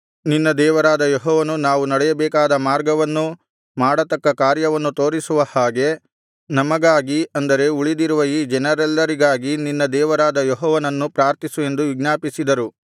ನಿನ್ನ ದೇವರಾದ ಯೆಹೋವನು ನಾವು ನಡೆಯಬೇಕಾದ ಮಾರ್ಗವನ್ನೂ ಮಾಡತಕ್ಕ ಕಾರ್ಯವನ್ನೂ ತೋರಿಸುವ ಹಾಗೆ ನಮಗಾಗಿ ಅಂದರೆ ಉಳಿದಿರುವ ಈ ಜನರೆಲ್ಲರಿಗಾಗಿ ನಿನ್ನ ದೇವರಾದ ಯೆಹೋವನನ್ನು ಪ್ರಾರ್ಥಿಸು ಎಂದು ವಿಜ್ಞಾಪಿಸಿದರು